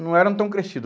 Não eram tão crescido.